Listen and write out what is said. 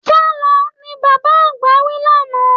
Sálọ! ni bàbá àgbà wí lánàá.